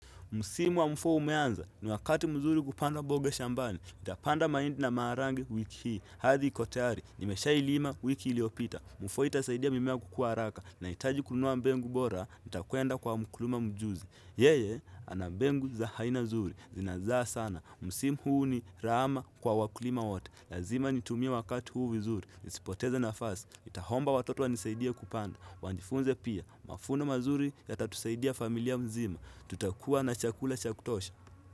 Msimu wa mfua umeanza, ni wakati mzuri kupanda bobe shambani. Itapanda maindi na maarangi wiki hii. Hathi iko tayari. Nimesha ilima wiki iliopita. Mfua itasaidia mimea kukua araka. Nahitaji kun nua mbengu bora. Itakwenda kwa mkurima mjuzi. Yeye, ana mbengu za haina nzuri. Zinazaa sana. Msimu huu ni rahama kwa wakulima wote. Lazima nitumie wakati huu vizuri. Nisipoteze nafasi. Itahomba watoto wanisaidie kupanda. Wanjfunze pia. Mafuno mazuri yatatusaidia familia mzima. Tuta kuwa na chakula cha kutosha.